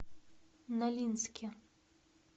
нолинске